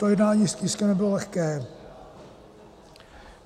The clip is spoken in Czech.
To jednání s tiskem nebylo lehké.